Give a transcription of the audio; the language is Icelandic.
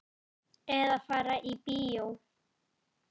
Eða fari í bíó.